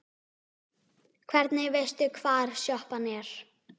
Hvernig veistu hvar sjoppan er?